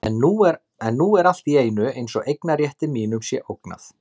En nú er allt í einu eins og eignarrétti mínum sé ógnað.